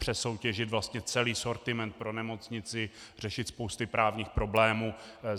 Přesoutěžit vlastně celý sortiment pro nemocnici, řešit spousty právních problémů.